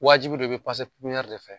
Wajibi don i bi de fɛ